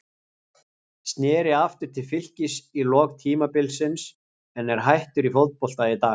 Sneri aftur til Fylkis í lok tímabilsins en er hættur í fótbolta í dag.